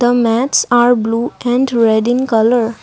mats are blue and red in colour.